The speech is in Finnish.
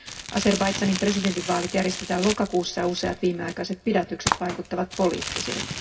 Azerbaidžanin presidentinvaalit järjestetään lokakuussa, ja useat viimeaikaiset pidätykset vaikuttavat poliittisilta.